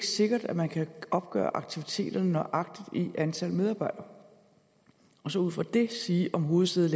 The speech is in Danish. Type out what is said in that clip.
sikkert at man kan opgøre aktiviteterne nøjagtigt i antallet af medarbejdere og så ud fra det sige om hovedsædet